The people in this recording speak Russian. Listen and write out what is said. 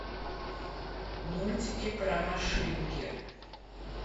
мультики про машинки